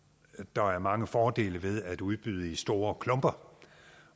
der er mange fordele ved at udbyde i store klumper